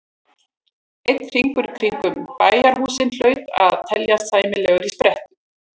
Einn hringur kringum bæjarhúsin hlaut að teljast sæmilegur sprettur.